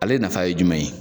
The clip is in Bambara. Ale nafa ye jumɛn ye?